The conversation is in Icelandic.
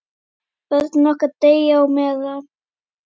Börnin okkar deyja á meðan.